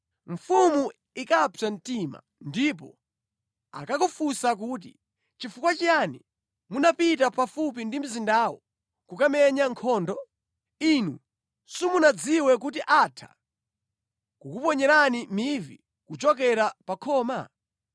mfumu ikapsa mtima, ndipo akakakufunsa kuti, ‘Nʼchifukwa chiyani munapita pafupi ndi mzindawo kukamenya nkhondo? Inu simunadziwe kuti atha kukuponyerani mivi kuchokera pa khoma?